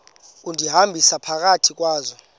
undihambisa phakathi kwazo